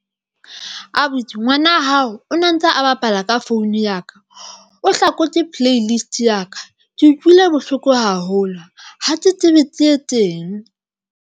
Abuti ngwana hao o ne ntse a bapala ka founu ya ka, o hlakotse play list ya ka. Ke utlwile bohloko haholo ha ke tsebe ke etseng.